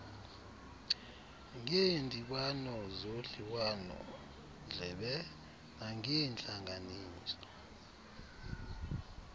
ngeendibano zodliwanondlebe nangeentlanganiso